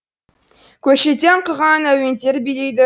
көшеде аңқыған әуендер билейді